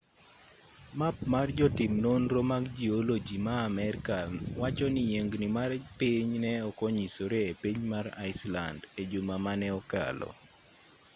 map mar jotim nonro mag jioloji ma amerka wacho ni yiengni mar piny ne ok onyisore e piny mar iceland e juma mane okalo